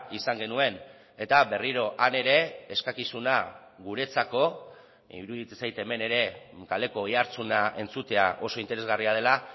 izan genuen eta berriro han ere eskakizuna guretzako iruditzen zait hemen ere kaleko oihartzuna entzutea oso interesgarria dela